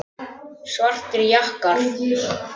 Svartir jakkar.